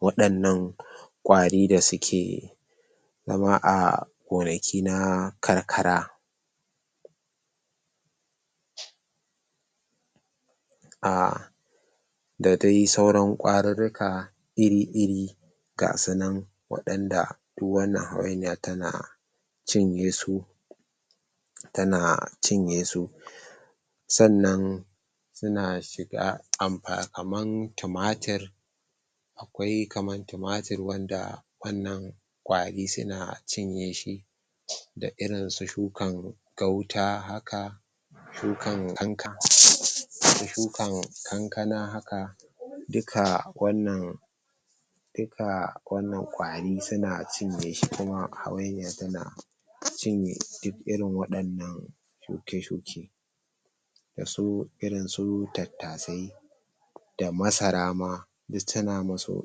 wadannan ƙwari da suke zama a gonaki na karkara ah da dai sauran ƙwarirrika iri-iri ga sunan wadanda duk wannan hawainiya tana cinye su tana cinye su sannan sauna shiga ampa kaman tumatir akwai kaman tumatir wanda wannan ƙwari suna cinye shi da irin su shukan gauta haka shukan kanka shukan kankana haka duka wannan duka wannan ƙwari suna cinyeshi kuma hawainiya tana cinye duk irin wadannan shuke-shuke da su irin su tattasai da masara ma duk tana musu.